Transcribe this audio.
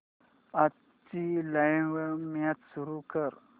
आजची live match सुरू कर